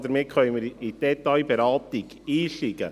Damit können wir in die Detailberatung einsteigen.